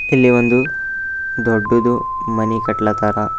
ಇಲ್ಲಿ ಒಂದು ದೊಡ್ಡದು ಮನಿ ಕಟ್ಲತ್ತಾರ.